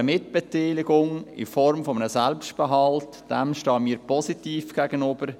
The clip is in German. Einer Mitbeteiligung in Form eines Selbstbehalts stehen wir jedoch positiv gegenüber.